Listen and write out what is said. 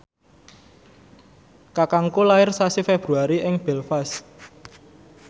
kakangku lair sasi Februari ing Belfast